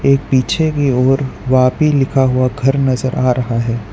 एक पीछे की ओर वापी लिखा हुआ घर नजर आ रहा है।